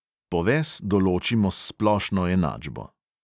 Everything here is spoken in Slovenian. Poves določimo s splošno enačbo.